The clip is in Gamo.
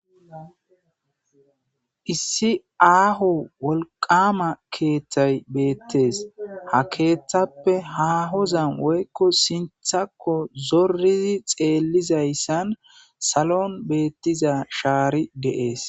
issi aaho wolqama keeththay beettees ha keeththappe ha hozan woykko sinthakko zorizi xeellizayssan salon beettiza shaari deees